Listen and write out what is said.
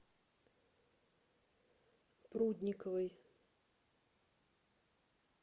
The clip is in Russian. прудниковой